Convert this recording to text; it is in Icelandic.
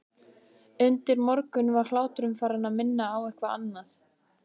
Undir morgun var hláturinn farinn að minna á eitthvað annað.